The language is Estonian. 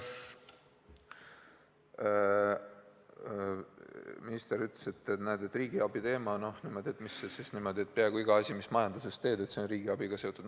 Minister ütles, et näed, peaaegu iga asi, mis sa majanduses teed, on riigiabiga seotud.